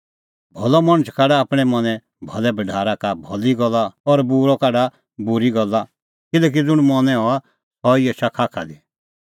भलअ मणछ काढा आपणैं मनें भलै भढारा का भली गल्ला और बूरअ काढा बूरी गल्ला किल्हैकि ज़ुंण मनैं हआ सह ई एछा खाखा दी